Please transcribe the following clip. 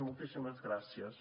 moltíssimes gràcies